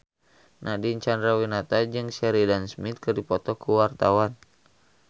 Nadine Chandrawinata jeung Sheridan Smith keur dipoto ku wartawan